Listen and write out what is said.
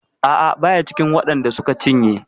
A'a baya cikin waɗan da suka cinye.